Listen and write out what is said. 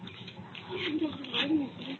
noise